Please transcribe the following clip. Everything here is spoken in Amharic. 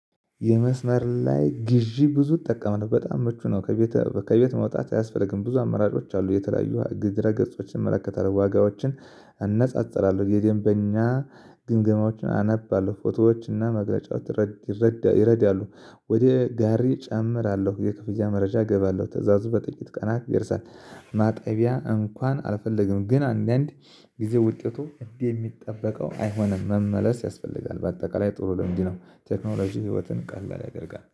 የመስመር ላይ ግዢ ብዙ እጠቀማለሁ ነው በጣም ምቹ ነው። ከቤት ከቤት መውጣት አያስፈልግም ብዙ አመራጮች አሉ የተለያዩ ድረ ገጾችን እንመለከተናል ዋጋዎችን እነጻጸራለሁ የደንበኛ ግምገማዎችን አነባለሁ ፎቶዎችና መግለጫው ይረዳሉ። ወደ ጋሪ እጨምራለሁ የክፍያ መረጃ እገባለሁ ትእዛዙ በጥቂት ቀናት ይደርሳል። ማጠቢያ እንኳን አልፈለግንም ግን አንዳንድ ጊዜ ውጤቱ እንዲህ የሚጠበቀው አይሆንም መመለስ ያስፈልጋል። በአጠቃላይ ጥሩ ልምድነው። ቴክኖሎጂ ህይወትን ቀላል ያደርጋል